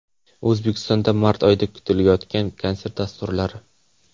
O‘zbekistonda mart oyida kutilayotgan konsert dasturlari.